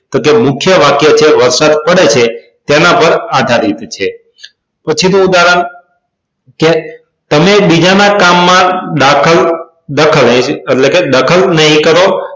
તો કે મુખ્ય વાક્ય છે વરસાદ પડે છે તેના પર આધારિત છે પછી નું ઉદાહરણ તમે બીજાના કામ માં દાખલ દખલ એટલે કે દખલ નહીં કરો